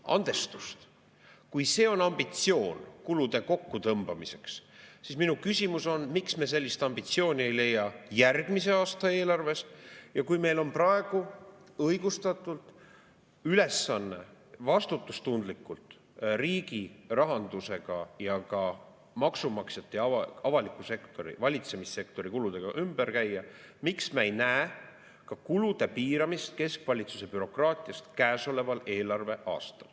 Andestust, kui see on ambitsioon kulude kokkutõmbamiseks, siis minu küsimus on, miks me sellist ambitsiooni ei leia järgmise aasta eelarves, ja kui meil on praegu õigustatult ülesanne vastutustundlikult riigi rahandusega ja ka maksumaksjate ja avaliku sektori, valitsemissektori kuludega ümber käia, miks me ei näe ka kulude piiramist keskvalitsuse bürokraatias käesoleval eelarveaastal.